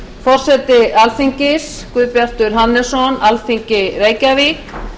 forseti alþingis guðbjartur hannesson alþingi reykjavík